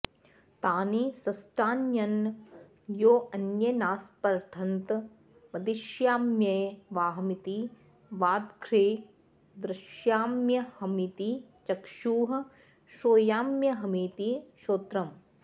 तानि सृष्टान्यन्योऽन्येनास्पर्धन्त वदिष्याम्येवाहमिति वाग्दध्रे द्रक्ष्याम्यहमिति चक्षुः श्रोष्याम्यहमिति श्रोत्रम्